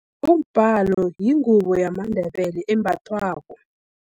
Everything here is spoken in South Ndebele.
Umbalo yingubo yamaNdebele embathwako.